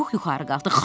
Çubuq yuxarı qalxdı.